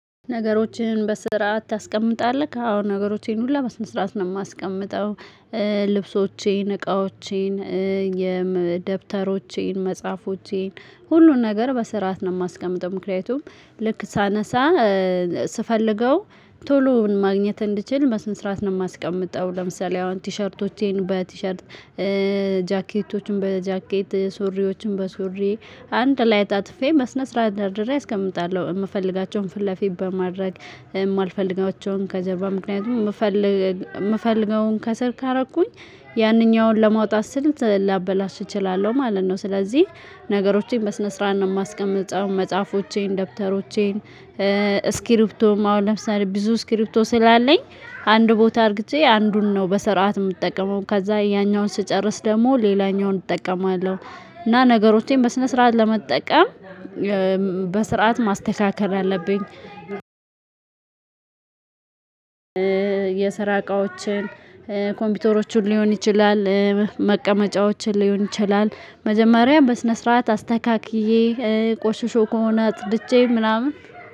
ነገሮችን በስርዓት ታስቀምጣለህ? አዎ ነገሮችን ሁላ በስነ-ስርአት ነው የማስቀምጠው። ልብሶቼን እቃዎቼን የደብተሮቼን መጽሐፎቼን ሁሉን ነገር በስርዓት ነው የማስቀምጠው። ምክንያቱም ልክ ሳነሳ ስፈልገው ቶሎ ማግኘት እንድችል በስነ-ስረዓት ነው የማስቀምጠው። ለምሳሌ አሁን ቲሸርቶቼን በቲሸርት ጃኬቶቹን በጃኬት ሱሪዎችን በሱሪ አንድ ላይ አጣጥፌ በስነ-ስረዓት ደርድሬ አስቀምጣለሁ። የምፈልጋቸውን ፊት ለፊት በማድረግ የማልፈልጋቸውን ከጀርባ ምክንያቱም የምፈልገውን ከስር ካደረኩኝ ያንኛውን ለማውጣት ስል ላበላሽ እችላለሁ ማለት ነው። ስለዚህ ነገሮቼን በስነ ስርዓት ነው የማስቀምጠው። መጽሐፎቼን ደብተሮቼን ስክሪፕቶም አሁን ለምሳሌ ብዙ ስክሪፕቶ ስላለኝ አንድ ቦታ አርግቼ አንዱን ነው በስርዓት የምጠቀመው ከዛ ያኛውን ስጨርስ ደግሞ ሌላኛውን እጠቀማለሁ። እና ነገሮቼም በስነ ስርዓት ለመጠቀም በስርዓት ማስተካከል አለብኝ። የስራ እቃዎችን ኮምፒውተሮችን ሊሆን ይችላል መቀመጫዎችን ሊሆን ይችላል መጀመሪያ በስነ ስርዓት አስተካክዬ ቆሽሾ ከሆነ አጽድቼ ምናምን።